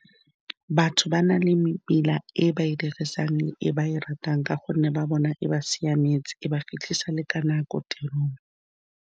Batho ba na le mebila e ba e dirisang, e ba e ratang ka gonne ba bona e ba siametse, e ba fitlhisa le ka nako tirong.